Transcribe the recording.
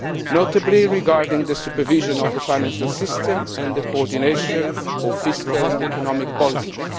notably regarding the supervision of the financial system and the coordination of fiscal and economic policies.